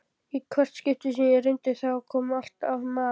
Í hvert skipti sem ég reyndi, þá kom alltaf mar